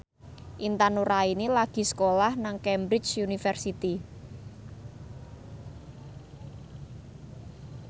Intan Nuraini lagi sekolah nang Cambridge University